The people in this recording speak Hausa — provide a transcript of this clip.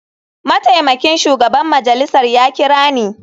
Mataimakin shugaban majalisar ya kira ni.